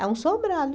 É um sobrado.